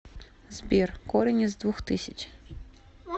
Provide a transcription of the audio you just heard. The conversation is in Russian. сбер корень из двух тысяч